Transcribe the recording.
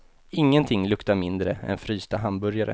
Ingenting luktar mindre än frysta hamburgare.